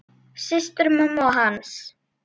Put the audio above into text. Systur mömmu og hans.